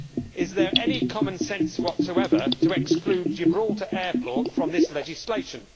Is there any common sense whatsoever in excluding Gibraltar Airport from this legislation?